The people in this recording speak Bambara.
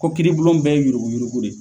Ko kiiribulon bɛɛ ye yuruguyurugu de ye.